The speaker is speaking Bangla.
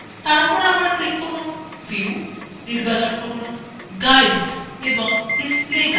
তারপর আবার click করুন view নির্বাচন করুন guides এবং display guides